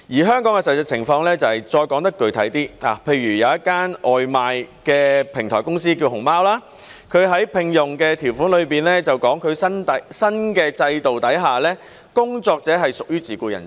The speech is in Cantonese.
香港的實際情況是，再說得具體一點，例如有一間名為"熊貓"的外賣平台公司，它在聘用條款說，在新的制度之下，工作者是屬於自僱人士。